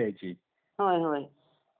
होय होय.